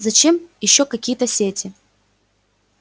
зачем ещё какие-то сети